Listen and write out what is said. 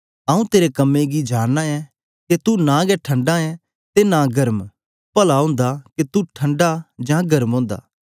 आऊँ तेरे कम्में गी जानना ऐं के तू नां गै ठंडा ऐ ते नां गर्म पला ओंदा के तू ठंडा जां गर्म ओंदा